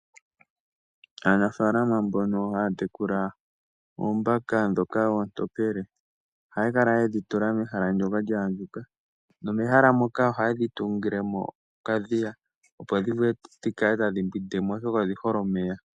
Aanafaalama mboka haya tekula oombaka ndhoka oontokele ohaya kala yedhi tula mehala ndyoka lya andjuka, nomehala moka ohaye dhi tungile mo okadhiya, opo dhi vule dhi kale tadhi mbwindi/yogo mo, oshoka odhi hole omeya.